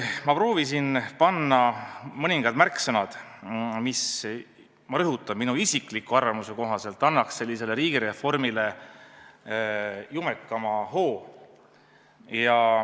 Ma proovisin panna kirja mõningad märksõnad, mis, ma rõhutan, minu isikliku arvamuse kohaselt annaks riigireformile jumekama hoo.